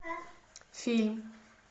фильм